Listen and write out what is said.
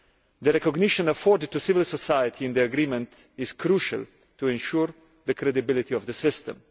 The recognition afforded to civil society in the Agreement is crucial to ensuring the credibility of the system.